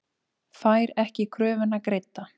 Fær ekki kröfuna greidda